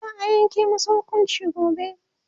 za'a Yanke masa hukunci gobe